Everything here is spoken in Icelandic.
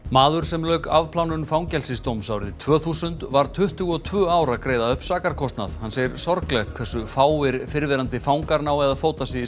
maður sem lauk afplánun fangelsisdóms árið tvö þúsund var tuttugu og tvö ár að greiða upp sakarkostnað hann segir sorglegt hversu fáir fyrrverandi fangar nái að fóta sig